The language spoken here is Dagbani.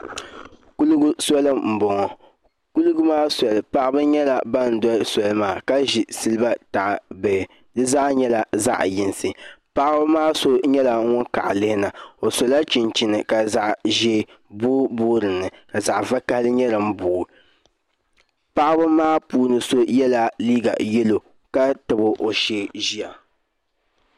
Kuligi soli n boŋo paɣaba nyɛla ban doli soli maa ka ʒi siliba taha bihi di zaa nyɛla zaɣ yinsi paɣaba maa so nyɛla ŋun kaɣa lihina o sola chinchini ka zaɣ ʒiɛ booi booi dinni ka zaɣ vakaɣali nyɛ din booi paɣaba maa puuni so yɛla liiga yɛlo ka tabi o shee ʒiya